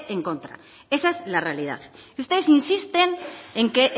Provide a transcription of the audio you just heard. en contra esa es la realidad ustedes insisten en que